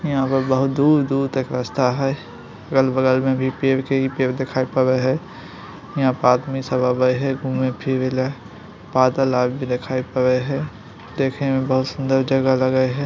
यहाँ पर बहुत दूर- दूर तक रास्ता है अगल-बगल में भी पेड़ पर भी पेड़ दिखाई पड़ रहा है। यहां पार्क में सब आवे है घूमे फिरे ला। बादल आग भी दिखाई पडे हैं देखे मे बहुत सुन्दर जगह लगेय है।